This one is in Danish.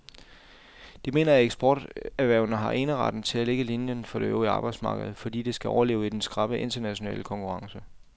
De mener, at eksporterhvervene har eneretten til at lægge linien for det øvrige arbejdsmarked, fordi de skal overleve i den skrappe internationale konkurrence.